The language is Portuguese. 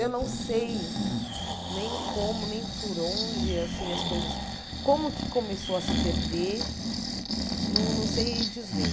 Eu não sei nem como, nem por onde, assim, as coisas... Como que começou a se perder, não não sei dizer.